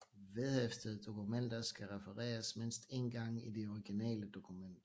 Vedhæftede dokumenter skal refereres mindst én gang i det originale dokument